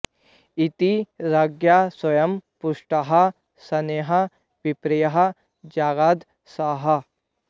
इति रज्ञा स्वयं पृष्टः शनैः विप्रः जगाद सः